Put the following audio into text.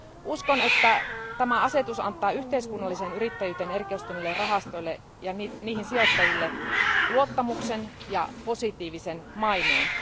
Uskon, että tämä asetus antaa yhteiskunnalliseen yrittäjyyteen erikoistuneille rahastoille ja niihin sijoittaville luottamuksen ja positiivisen maineen.